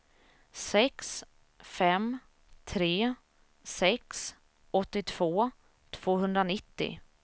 sex fem tre sex åttiotvå tvåhundranittio